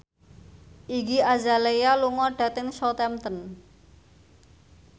Iggy Azalea lunga dhateng Southampton